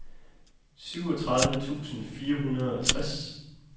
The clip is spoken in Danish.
syvogtredive tusind fire hundrede og tres